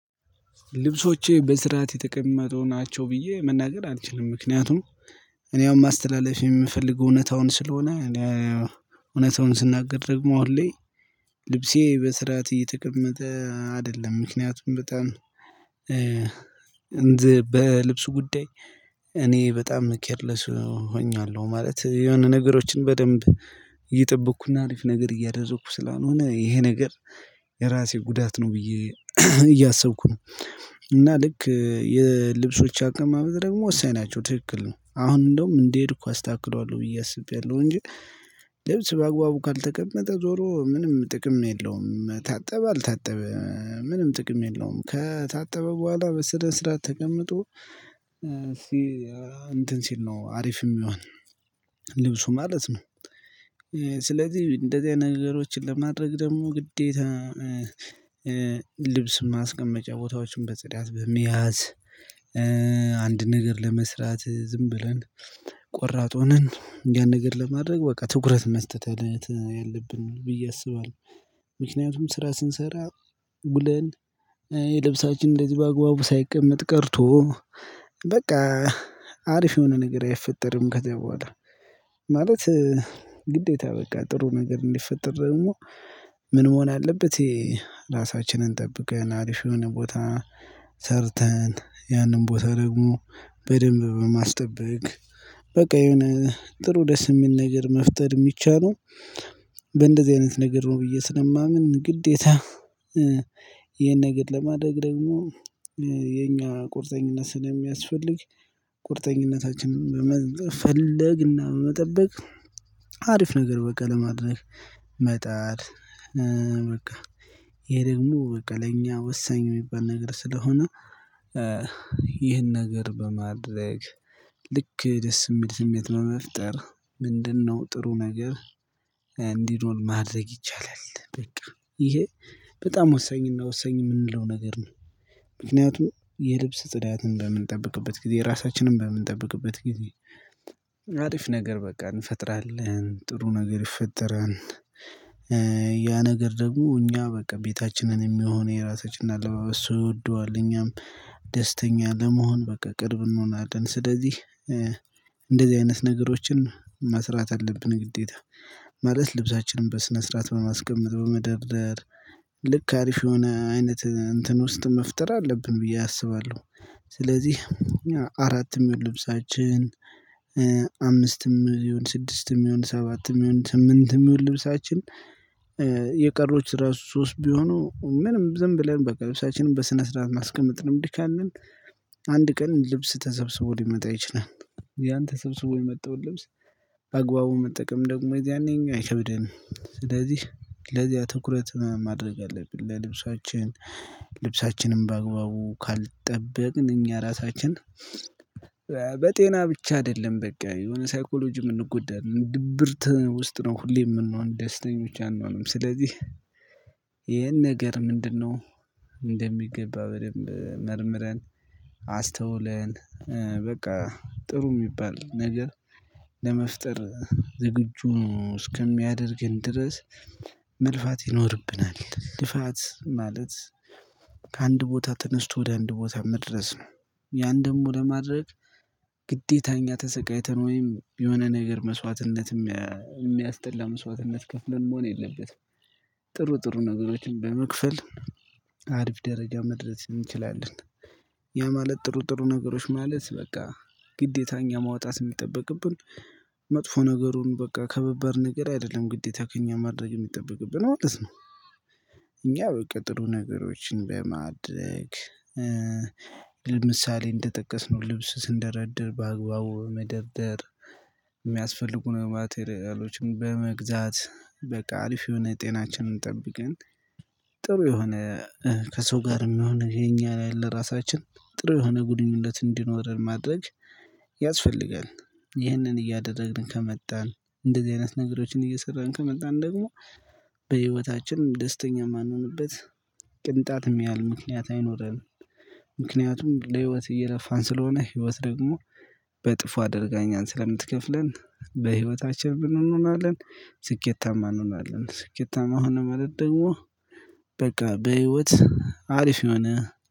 ልብሶቼ በስርዓት የተቀመጡ ናቸው ብዬ መናገር አልችልም ምክንያቱም እኔ አሁን ማስተላለፍ የምፈልገው እውነታውን ስለሆነ እውነታውን ስናገር ደግሞ አሁን ላይ ልብሴ በስርዓት እየተቀመጠ አይደለም። ምክንያቱም በጣም በልብስ ጉዳይ እኔ በጣም ኬር ለስ ሆኛለሁ ማለት የሆነ ነገሮችን በደንብ እየጠበኩ እና አሪፍ ነገር እያደረግኩ ስላልሆነ ይሄ ነገር የራሴ ጉዳት ነው። ብዬ እያሰብኩ ነው። እና ልክ የልብሶቼ አቀማመጥ ደግሞ ወሳኝ ናቸው ትክክል ነው። አሁን እንደውም እንደሄድኩ አስተካክለዋለሁ ብዬ አስቤያለሁ እንጂ ልብስ በአግባቡ ካልተቀመጠ ዞሮ ምንም ጥቅም የለውም ታጠበ አልታጠበ ምንም ጥቅም የለውም። ከታጠበ በኋላ በስነ ስርዓት ተቀምጦ እንትን ሲል ነው አሪፍ የሚሆን ልብሱ ማለት ነው። ስለዚህ እንደዚህ አይነት ነገሮችን ለማድረግ ደግሞ ግዴታ ልብስ ማስቀመጫ ቦታዎችን በጽዳት በመያዝ አንድ ነገር ለመስራት ዝም ብለን ቆራጥ ሆነን ያን ነገር ለማድረግ በቃ ትኩረት መስጠት አይነት ያለብን ብዬ አስባለሁ። ምክንያቱም ስራ ሥንሰራ ውለን የልብሳችን እንደዚሁ በአግባቡ ሳይቀመጥ ቀርቶ በቃ አሪፍ የሆነ ነገር አይፈጠርም ከዛ በኋላ ማለት ግዴታ በቃ ጥሩ ነገር እንዲፈጠር ደግሞ ምን መሆን አለበት? የራሳችንን ጠብቀን አሪፍ የሆነ ቦታ ሰርተን ያንን ቦታ ደግሞ በደንብ በማስጠበቅ በቃ የሆነ ጥሩ ደስ የሚል ነገር መፍጠር የሚቻለው በእንደዚህ አይነት ነገር ነው። ብዬ ስለማምን ግዴታ ይሄን ነገር ለማድረግ ደግሞ የእኛ ቁርጠኝነት ስለሚያስፈልግ ቁርጠኝነታችንን በመፈለግና በመጠበቅ አሪፍ ነገር በቃ ለማድረግ መጣር። በቃ ይሄ ደግሞ በቃ ለእኛ ወሳኝ የሚባል ነገር ስለሆነ። ይህን ነገር በማድረግ ልክ ደስ የሚል ስሜት ነው በመፍጠር ምንድንነው ጥሩ ነገር እንዲኖር ማድረግ ይቻላል። በቃ ይሄ በጣም ወሳኝና ወሳኝ የምንለው ነገር ነው። ምክንያቱም የልብስ ጽዳትን በምንጠብቅበት ጊዜ ራሳችንን በምንጠብቅበት ጊዜ አሪፍ ነገር በቃ እንፈጥራለን ጥሩ ነገር ይፈጠራል። ያ ነገር ደግሞ እኛ በቃ ቤታችንን የሚሆን የራሳችንን አለባበስ ሰው ይወደዋል እኛም ደስተኛ ለመሆን በቃ ቅርብ እንሆናለን። ስለዚህ እንደዚህ አይነት ነገሮችን መስራት አለብን ግዴታ ማለት ልብሳችንን በስነ ስርዓት በማስቀመጥ በመደርደር ልክ አሪፍ የሆነ አይነት እንትን ውስጥ መፍጠር አለብን ብዬ አስባለሁ። ስለዚህ አራትም ይሁን ልብሳችን አምስትም ይሁን ስድስትም ይሁን ሰባትም ይሁን ስምንትም ይሁን ልብሳችን የቀሮች ራሱ ሶስት ቢሆኑ ምንም ዝም ብለን በቃ ልብሳችንን በስነ ስርዓት ማስቀመጥ ልምድ ካለን። አንድ ቀን ልብስ ተሰብስቦ ሊመጣ ይችላል። ያን ተሰብስቦ የመጣውን ልብስ አግባቡ መጠቀም ደግሞ የዛኔ እኛ አይከብደንም ስለዚህ ለዚያ ትኩረት ማድረግ አለብን። ለልብሳችን ልብሳችንም በአግባቡ ካልጠበቅን እኛ ራሳችን በጤና ብቻ አይደለም በቃ የሆነ ሳይኮሎጂ የምንጎዳን ድብርት ውስጥ ነው ሁሌ የምንሆን ደስተኞች አንሆንም። ስለዚህ ይሄን ነገር ምንድንነው? እንደሚገባ በደንብ መርምረን አስተውለን በቃ ጥሩ የሚባል ነገር ለመፍጠር ዝግጁ እስከሚያደርገን ድረስ መልፋት ይኖርብናል። ልፋት ማለት ከአንድ ቦታ ተነስቶ ወደ አንድ ቦታ መድረስ ነው። ያን ደግሞ ለማድረግ ግዴታ እኛ ተሰቃይተን ወይም የሆነ ነገር መስዋዕትነት የሚያስጠላ መስዋዕትነት ከፍለን መሆን የለበትም። ጥሩ ጥሩ ነገሮችን በመክፈል አርፍ ደረጃ መድረስ እንችላለን። ያ ማለት ጥሩ ጥሩ ነገሮች ማለት በቃ ግዴታ እኛ ማውጣት የሚጠበቅብን መጥፎ ነገሩን በቃ ከባባድ ነገር አይደለም ግዴታ ከእኛ ማድረግ የሚጠበቅብን ማለት ነው። እኛ በቃ ጥሩ ነገሮችን በማድረግ ለምሳሌ እንደጠቀስነው ልብስ ስንደረድር በአግባቡ በመደርደር የሚያስፈልጉን ማቴሪያሎችን በመግዛት በቃ አሪፍ የሆነ ጤናችንን ጠብቀን ጥሩ የሆነ ከሰው ጋርም የሆነ የኛ ላይ ለራሳችን ጥሩ የሆነ ግንኙነት እንዲኖረን ማድረግ ያስፈልጋል። ይህንን እያደረግን ከመጣን እንደዚህ አይነት ነገሮችን እየሰራን ከመጣን ደግሞ በህይወታችንም ደስተኛ የማንሆንበት ቅንጣትም ያህል ምክንያት አይኖረንም። ምክንያቱም ለህይወት እየለፋን ስለሆነ ህይወት ደግሞ በእጥፉ አድርጋ እኛን ስለምትከፍለን በህይወታችን ምን እንሆናለን ስኬታማ እንሆናለን። ስኬታማ ሆንን ማለት ደግሞ በቃ በህይወት አሪፍ የሆነ